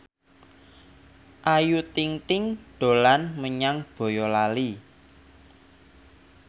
Ayu Ting ting dolan menyang Boyolali